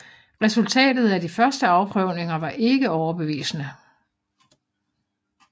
Resultatet af de første afprøvninger var ikke overbevisende